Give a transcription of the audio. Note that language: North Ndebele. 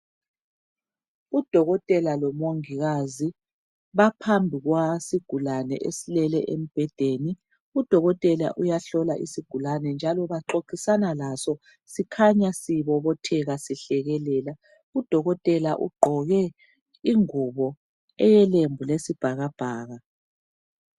Udokotela lomongikazi baphambikwasigulane esilele embhedeni udokotela uyahlola isigulane njalo baxoxisana laso sikhanya sibobobotheka sihlekelela. Udokotela ugqoke ingubo elelembu lesibhakabhaka.